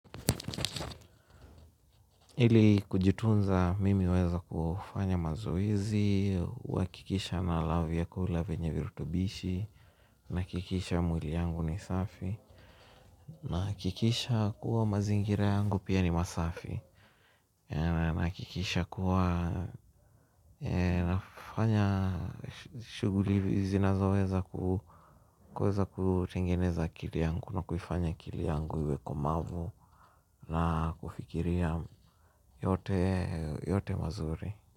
Ili kujitunza, mimi hueza kufanya mazoezi, huhakikisha nala vyakula vyenye virutubishi, nahakikisha mwili yangu ni safi, nahakikisha kuwa mazingira yangu pia ni masafi nahakikisha kuwa, nafanya shughuli zinazoweza ku kuweza kutengeneza akili yangu, na kuifanya akili yangu iwe komavu na kufikiria yote mazuri.